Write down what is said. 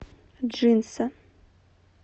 джинса